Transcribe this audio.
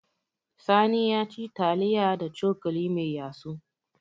Sani ya ci taliya da cokali mai yatsu.